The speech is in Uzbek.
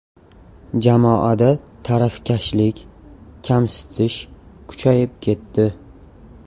Jamoada tarafkashlik, kamsitish kuchayib ketdi.